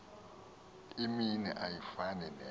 imini ayifani nenye